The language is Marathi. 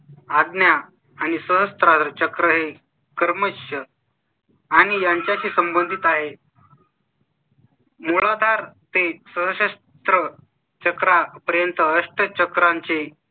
ताण आज्ञा आणि सहस्रार चक्र हे कर्मच आणि त्यांच्या शी संबंधित आहे . मोरा दार ते सशस्त्र चक्रा पर्यंत असते. चक्रांचे